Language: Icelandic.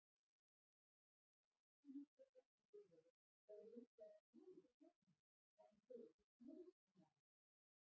baksýnisspeglar í bifreiðum eru hins vegar svolítið flóknari þar sem þeir eru fleyglaga